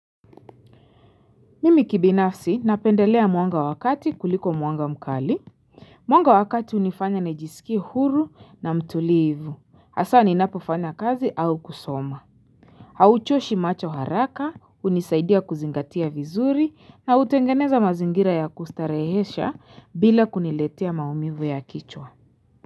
Mimi kibinafsi napendelea mwanga wa kati kuliko mwanga mkali Mwanga wa kati hunifanya nijisikie huru na mtulivu. Hasa ninapofanya kazi au kusoma Hauchoshi macho haraka hunisaidia kuzingatia vizuri na utengeneza mazingira ya kustarehesha bila kuniletea maumivu ya kichwa.